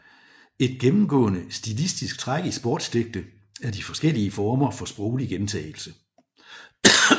Et gennemgående stilistisk træk i Sportsdigte er de forskellige former for sproglig gentagelse